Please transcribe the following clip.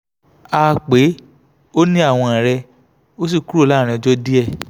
a pe ó ní àwọ̀n rẹ̀ ó sì kúrò láàárín ọjọ́ díẹ̀